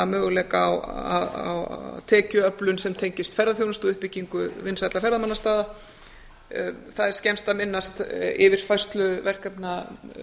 möguleika á tekjuöflun sem tengist ferðaþjónustu og uppbyggingu vinsælla ferðamannastaða það er skemmst að minnast yfirfærslu verkefna